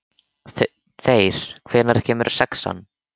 Þeyr, hvenær kemur sexan?